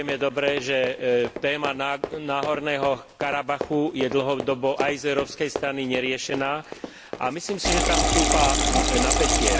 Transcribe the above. Vieme dobre, že téma Náhorného Karabachu je dlhodobo aj z európskej strany neriešená, a myslím si, že tam stúpa napätie.